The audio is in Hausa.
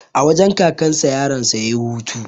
A wajen kakan sa yaron sa yayi hutu